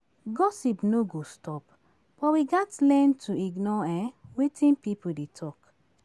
Gossip no go stop, but we gats learn to ignore um wetin pipo dey talk.